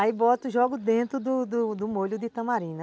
Aí boto e jogo dentro do do do molho de tamarim.